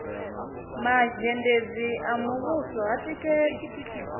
mazhendedzi a muvhuso ha tikedzi